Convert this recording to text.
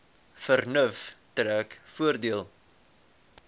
vernuf trek voordeel